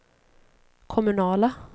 kommunala